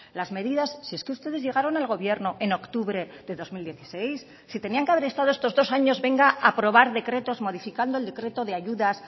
las medidas si es que ustedes llegaron al gobierno en octubre de dos mil dieciséis si tenían que haber estado estos dos años venga a aprobar decretos modificando el decreto de ayudas